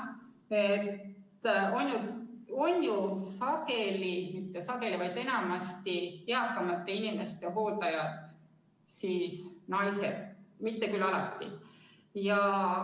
Tegelikult on, jah, sageli – või mitte sageli, vaid enamasti – eakamate inimeste hooldajad naised, mitte küll alati.